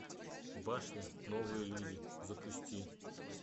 башня новые люди запусти